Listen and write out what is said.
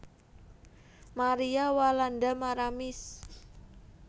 Maria Walanda Maramis